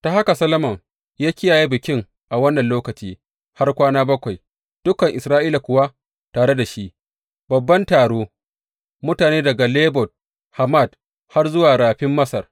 Ta haka Solomon ya kiyaye bikin a wannan lokaci har kwana bakwai, dukan Isra’ila kuwa tare da shi, babban taro, mutane daga Lebo Hamat har zuwa Rafin Masar.